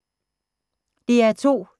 DR2